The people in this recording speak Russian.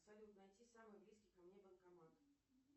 салют найти самый близкий ко мне банкомат